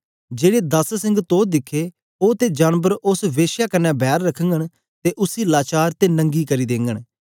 जेड़े दस सिंग तो दिखे ओ ते जानबर उस्स के श्या कन्ने बैर रखघंन ते उसी लाचार ते नंगी करी देंगन